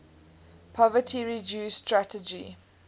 poverty reduction strategy